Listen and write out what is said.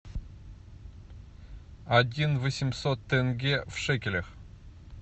один восемьсот тенге в шекелях